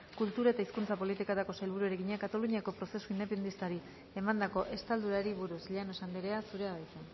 kultura eta hizkuntza politikako sailburuari egina kataluniako prozesu independentistari emandako estaldurari buruz llanos andrea zurea da hitza